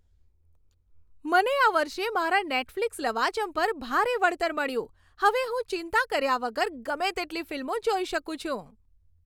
મને આ વર્ષે મારા નેટફ્લિક્સ લવાજમ પર ભારે વળતર મળ્યું. હવે હું ચિંતા કર્યા વગર ગમે તેટલી ફિલ્મો જોઈ શકું છું.